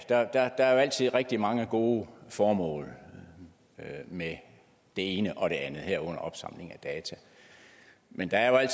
der er altid rigtig mange gode formål med det ene og det andet herunder opsamling af data men der er jo